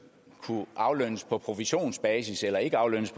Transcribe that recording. kunne aflønnes på provisionsbasis eller ikke aflønnes